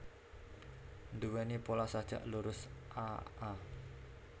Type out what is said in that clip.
Nduwèni pola sajak lurus a a